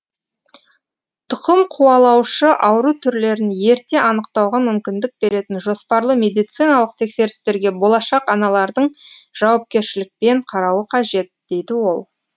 тұқымқуалаушы ауру түрлерін ерте анықтауға мүмкіндік беретін жоспарлы медициналық тексерістерге болашақ аналардың жауапкершілікпен қарауы қажет дейді ол